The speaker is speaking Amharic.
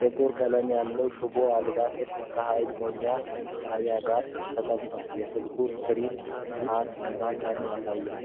ጥቁር ቀለም ያለው ሽቦ አልባ ስልክ ከኃይል መሙያ ጣቢያው ጋር ተቀምጧል። የስልኩ ስክሪን ሰዓት እና ቀን ያሳያል።